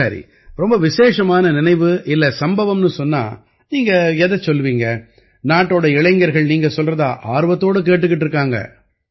சரி ரொம்ப விசேஷமான நினைவு இல்லை சம்பவம்னு சொன்னா நீங்க எதைச் சொல்லுவீங்க நாட்டோட இளைஞர்கள் நீங்க சொல்றதை ஆர்வத்தோட கேட்டுக்கிட்டு இருக்காங்க